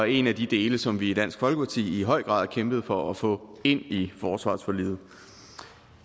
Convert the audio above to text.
en af de dele som vi i dansk folkeparti i høj grad kæmpede for at få ind i forsvarsforliget